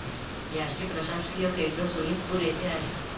याचे प्रशासकीय केंद्र सोनीतपूर येथे आहे.